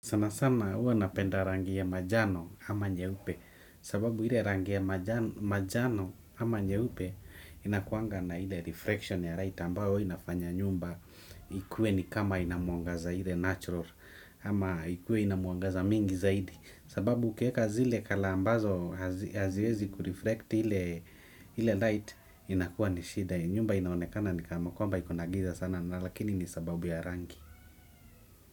Sanasana huwa ninapenda rangi ya manjano ama nyeupe sababu ile rangi ya manjano ama nyeupe inakuanga na ile reflection ya light ambayo inafanya nyumba ikuwe ni kama ina mwangaza ile natural ama ikuwe ina mwangaza mingi zaidi sababu ukiweka zile colour ambazo haziwezi kurefracti ile light inakuwa ni shida nyumba inaonekana ni kama kwamba iko na giza sana lakini ni sababu ya rangi.